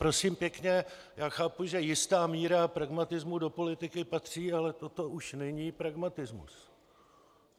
Prosím pěkně, já chápu, že jistá míra pragmatismu do politiky patří, ale toto už není pragmatismus.